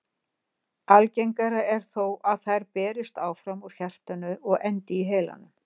Algengara er þó að þær berist áfram úr hjartanu og endi í heilanum.